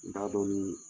N t'a dɔn ni